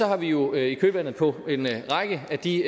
har vi jo i kølvandet på en række af de